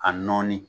A nɔɔni